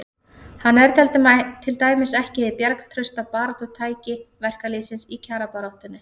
Hann er til dæmis ekki hið bjargtrausta baráttutæki verkalýðsins í kjarabaráttunni.